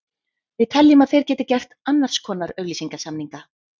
Við teljum að þeir geti gert annars konar auglýsingasamninga.